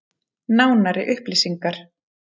Nánari upplýsingar: